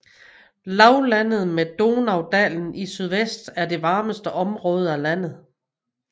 Lavlandet med Donaudalen i sydvest er det varmeste område af landet